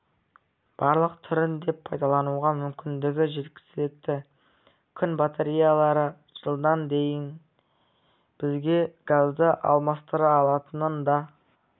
барлық түрін де пайдалануға мүмкіндігі жеткілікті күн батареялары жылдан кейін бізге газды алмастыра алатынын да